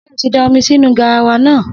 Sé o ti da omi sínu garawa náà.